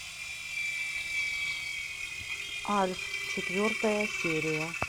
альф четвертая серия